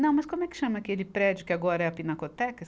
Não, mas como é que chama aquele prédio que agora é a Pinacoteca?